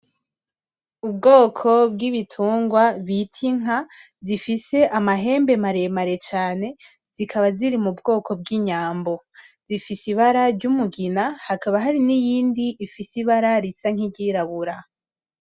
Ubwoko bwibitungwa bita Inka zifise amahembe maremare cane zikaba ziri mu bwoko bw'inyambo zifise ibara ry'umugina hakaba hari niyindi ifise ibara ryirabura.